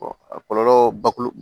a kɔlɔlɔ bakuru